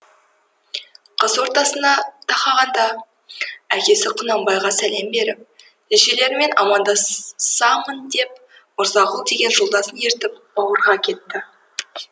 қыс ортасына тақағанда әкесі құнанбайға сәлем беріп шешелеріме амандасамын деп мырзағұл деген жолдасын ертіп бауырға кетті